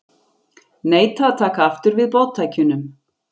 Neita að taka aftur við boðtækjunum